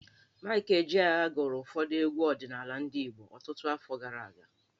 Maịk Ejeagha gụrụ ụfọdụ egwu ọdịnaala ndị Igbo ọtụtụ afọ gara aga.